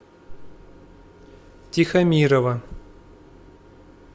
тихомирова